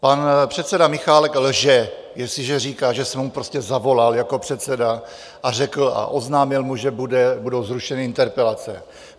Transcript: Pan předseda Michálek lže, jestliže říká, že jsem mu prostě zavolal jako předseda a řekl a oznámil mu, že budou zrušeny interpelace.